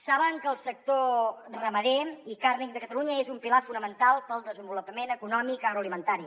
saben que el sector ramader i carni de catalunya és un pilar fonamental pel desenvolupament econòmic agroalimentari